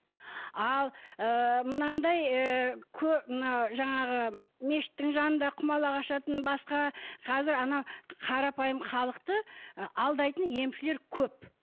ал ы мынандай ыыы мына жаңағы мешіттің жанында құмалақ ашатын басқа қазір ана қарапайым халықты ы алдайтын емшілер көп